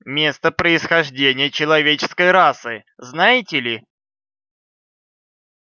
место происхождения человеческой расы знаете ли